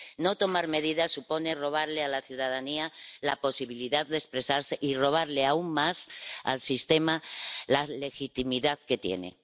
No tomar medidas supone robarle a la ciudadanía la posibilidad de expresarse, y robarle aún más al sistema la legitimidad que tiene.